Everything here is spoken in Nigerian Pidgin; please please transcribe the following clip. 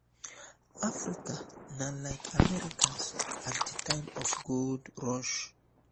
africa na like americas at di time of gold rush